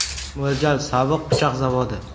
Mo‘ljal sobiq pichoq zavodi.